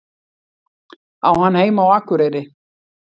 Á hann heima á Akureyri?